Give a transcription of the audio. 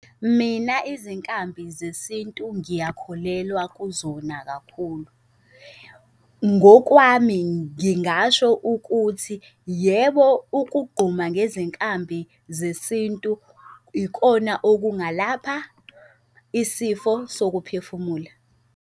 Mina izinkambi zesintu ngiyakholelwa kuzona kakhulu. Ngokwami ngingasho ukuthi, yebo, ukugquma ngezinkampani zesintu ikona okungalapha isifo sokuphefumula.